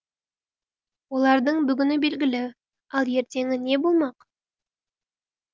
олардың бүгіні белгілі ал ертеңі не болмақ